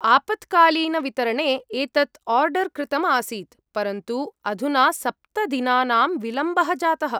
आपत्कालीनवितरणे एतत् आर्डर् कृतम् आसीत्, परन्तु अधुना सप्त दिनानां विलम्बः जातः।